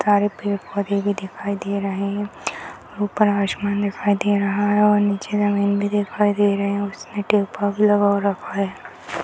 सारे पेड़-पौधे भी दिखाई दे रहे हैं ऊपर आसमान दिखाई दे रहा है और नीचे जमीन भी दिखाई दे रहे हैं उसने टोपा भी लगा हुआ रखा है।